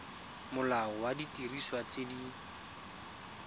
molao wa didiriswa tse di